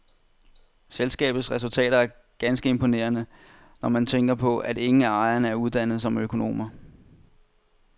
Selskabets resultater er ganske imponerende, når man tænker på, at ingen af ejerne er uddannet som økonomer.